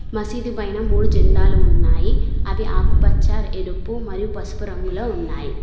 మసీదు పైన మూడు జెండాలు ఉన్నాయి అవి ఆకుపచ్చ ఎరుపు మరియు పసుపు రంగులో ఉన్నాయి.